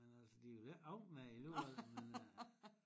Men altså de vil ikke af med det alligevel men øh